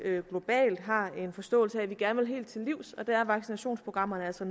globalt har en forståelse af at vi gerne vil helt til livs og der er vaccinationsprogrammerne altså